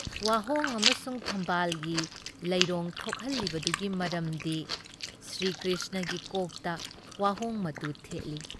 ꯋꯥꯍꯣꯡ ꯑꯃꯁꯨꯡ ꯊꯝꯕꯥꯜꯒꯤ ꯂꯩꯔꯣꯡ ꯊꯣꯛꯍꯜꯂꯤꯕꯗꯨꯒꯤ ꯃꯔꯝꯗꯤ ꯁ꯭ꯔꯤꯀ꯭ꯔꯤꯁꯅꯒꯤ ꯀꯣꯛꯇ ꯋꯥꯍꯣꯡ ꯃꯇꯨ ꯊꯦꯠꯂꯤ ꯫